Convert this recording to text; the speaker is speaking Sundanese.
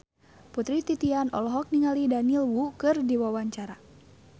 Putri Titian olohok ningali Daniel Wu keur diwawancara